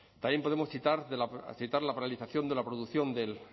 también podemos citar la paralización de la producción del